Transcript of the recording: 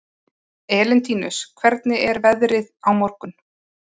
Elentínus, hvernig er veðrið á morgun?